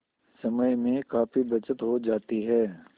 समय में काफी बचत हो जाती है